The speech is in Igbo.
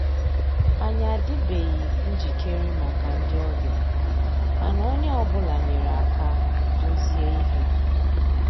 Ànyị́ àdị́beghị́ njìkéré màkà ndị́ ọ̀bịá, mànà ónyé ọ́ bụ́là nyéré àká dòzié íhé.